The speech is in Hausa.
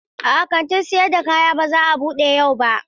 A'a, kantin sayar da kaya ba za a bude yau ba.